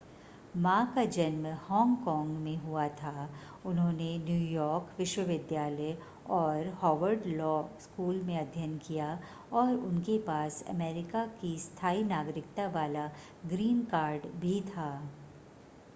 मा का जन्म हांगकांग में हुआ था उन्होंने न्यूयॉर्क विश्वविद्यालय और हार्वर्ड लॉ स्कूल में अध्ययन किया और उनके पास अमेरिका की स्थाई नागरिकता वाला ग्रीन कार्ड भी था